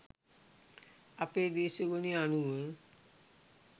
අපේ දේශගුණය අනුව